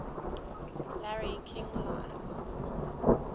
larry king live